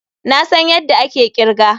Na san yadda ake kirga.